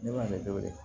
Ne b'a de wele